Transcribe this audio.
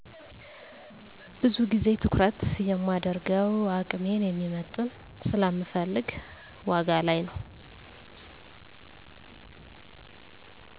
ብዙ ግዜ ትኩረት የማደርገው አቅሜን የሚመጥን ስለምፈልግ ዋጋ ላይ ነው።